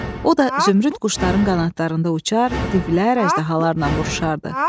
O da zümrüd quşların qanadlarında uçar, divlər, əjdahalarla vuruşardı.